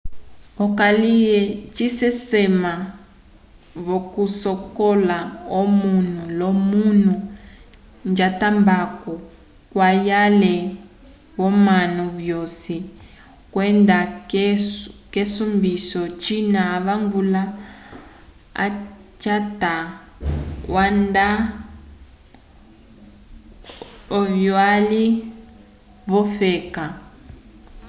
okalye cisesama vokusocolola omunu lomunu jatambaco cwayele womanu vosi kwenda kesombiso cina avangula wacwata onda uvyali wofeka